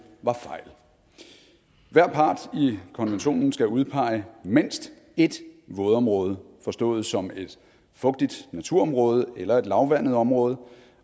var fejl hver part i konventionen skal udpege mindst ét vådområde forstået som et fugtigt naturområde eller et lavvandet område